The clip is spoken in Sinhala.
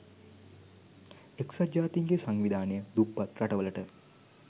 එක්සත් ජාතීන්ගේ සංවිධානය දුප්පත් රටවලට